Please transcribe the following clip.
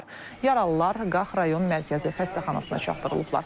Yaralılar Qax rayon Mərkəzi xəstəxanasına çatdırılıblar.